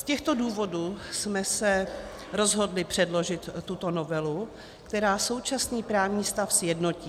Z těchto důvodů jsme se rozhodli předložit tuto novelu, která současný právní stav sjednotí.